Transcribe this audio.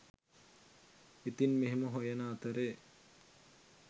ඉතින් මෙහෙම හොයන අතරේ